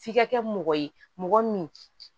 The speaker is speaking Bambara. F'i ka kɛ mɔgɔ ye mɔgɔ min